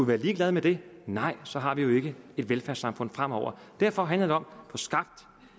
være ligeglade med det nej så har vi jo ikke et velfærdssamfund fremover derfor handler det om og få skabt